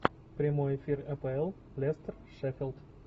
прямой эфир апл лестер шеффилд